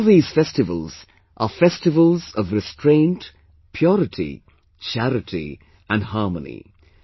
All these festivals are festivals of restraint, purity, charity and harmony